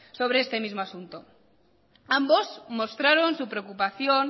sobre este mismo asunto ambos mostraron su preocupación